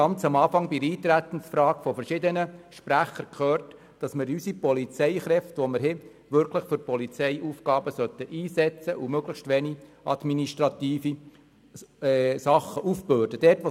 Ganz am Anfang haben wir bei der Eintretensfrage von verschiedenen Sprechern gehört, dass unsere Polizeikräfte wirklich für Polizeiaufgaben eingesetzt und dass ihnen möglichst wenige administrative Arbeiten aufgebürdet werden sollen.